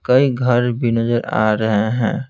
कई घर भी नजर आ रहे हैं।